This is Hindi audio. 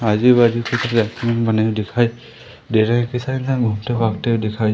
आजू बाजू पे बने हुए दिखाई दे रहें हैं इतने सारे हुए दिखाई--